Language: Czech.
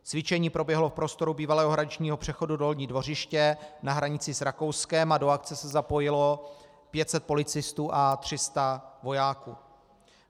Cvičení proběhlo v prostoru bývalého hraničního přechodu Dolní Dvořiště na hranici s Rakouskem a do akce se zapojilo 500 policistů a 300 vojáků.